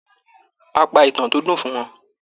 A pa ìtàn tó dùn fún wọn.